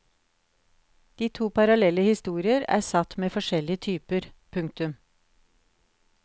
De to parallelle historier er satt med forskjellig typer. punktum